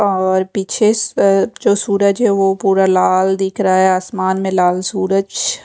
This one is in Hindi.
और पीछे जो सूरज है वो पूरा लाल दिख रहा है आसमान में लाल सूरज--